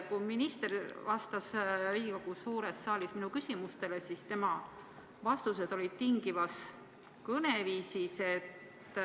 Kui minister vastas Riigikogu suures saalis minu küsimustele, siis tema vastused olid tingivas kõneviisis.